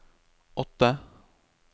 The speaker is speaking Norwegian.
åtte